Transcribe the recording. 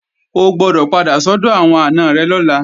O gbọdọ̀ padà sọ́dọ̀ àwọn àna rẹ̀ lọ́la!